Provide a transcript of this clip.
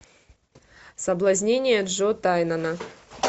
соблазнение джо тайнана